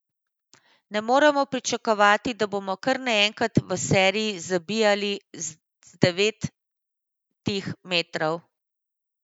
Ne moremo pričakovati, da bomo kar naenkrat v seriji zabijali z devetih metrov.